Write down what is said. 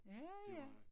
Ja ja